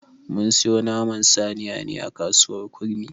Mun siyo Naman saniyan ne a kasuwar kurmi.